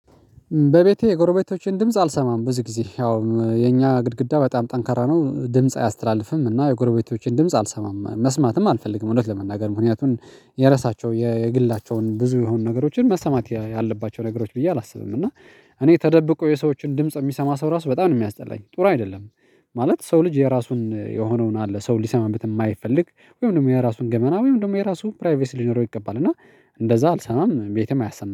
በቤቴ የጎረቤቶቼን ድምጽ አልሰማም ብዙ ጊዜ ያው የኛ ግድግዳ በጣም ጠንካራ ነው ድምጽ አያስተላልፍም። እና የጎረቤቶቼን ድምጽ አልሰማም መስማትም አልፈልግም። እውነት ለመናገር ምክንያቱን የራሳቸው የግላቸውን ብዙ የሆኑ ነገሮችን መሰማት ያለባቸው ነገሮች ብዬ አላስብም እና እኔ ተደብቆ የሰዎችን ድምጽ የሚሰማ ሰው ራሱ በጣም ነው የሚያስጠላኝ ጥሩ አይደለም። ማለት ሰው ልጅ የራሱን የሆነውን አለ ሰው ሊሰማበት የማይፈልግ ወይም ደግሞ የራሱን ገመና ወይም ደግሞ የራሱን ፕራይቬስ ሊኖረው ይገባል። እና እንደዚያ አልሰማም ቤትም አያሰማም